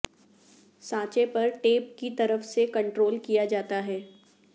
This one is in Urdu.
سانچے پر ٹیپ کی طرف سے کنٹرول کیا جاتا ہے